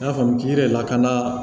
I n'a fɔ k'i yɛrɛ lakana